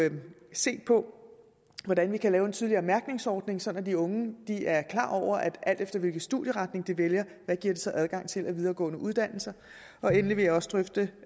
set på hvordan vi kan lave en tydeligere mærkningsordning så de unge er klar over alt efter hvilket studieretning de vælger hvad det så giver adgang til af videregående uddannelser endelig vil jeg også drøfte